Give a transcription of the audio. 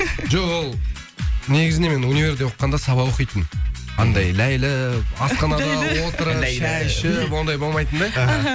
жоқ ол негізінде мен универде оқығанда сабақ оқитынмын андай ләйліп асханада отырып шай ішіп ондай болмайтын да